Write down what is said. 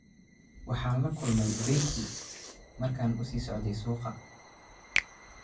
Waxaan la kulmay Becky markan uu sii socday suuqa